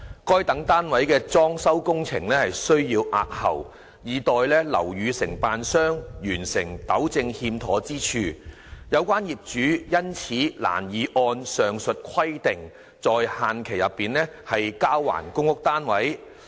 該等單位的裝修工程需押後，以待樓宇承建商完成糾正欠妥之處，有關業主因此難以按上述規定在限期內交還公屋單位。